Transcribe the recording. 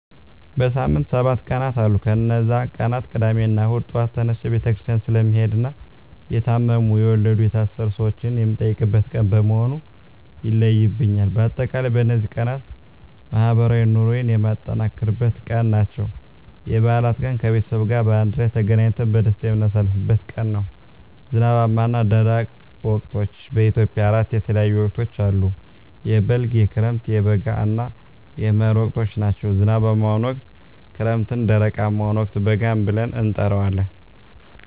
በሳምንት ሰባት ቀናት አሉ ከነዚህ ቀናት ቅዳሜና እሁድ ጧት ተነስቸ ቤተክርስቲያን ስለምሄድና የታመሙ፣ የወለዱ፣ የታሰሩ ሰወችን የምጠይቅበት ቀን በመሆኑ ይለዩብኛል። በአጠቃላይ በነዚህ ቀናት ማህበራዊ ኑሮየን የማጠናክርበት ቀን ናቸው። *የበዓላት ቀን፦ ከቤተሰብ ጋር በአንድ ላይ ተገናኝተን በደስታ የምናሳልፍበት ቀን ነው። *ዝናባማና ደረቅ ወቅቶች፦ በኢትዮጵያ አራት የተለያዩ ወቅቶች አሉ፤ የበልግ፣ የክረምት፣ የበጋ እና የመህር ወቅቶች ናቸው። *ዝናባማውን ወቅት ክረምት *ደረቃማውን ወቅት በጋ ብለን እንጠራዋለን።